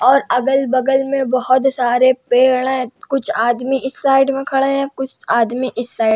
और अगल-बगल में बहोत सारे पेड़ हैं कुछ आदमी इस साइड में खड़े हैं कुछ इस साइड --